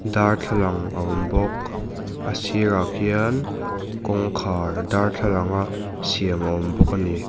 darthlalang a awm bawk a sirah khian kawngkhar darthlalang a siam a awm bawk a ni.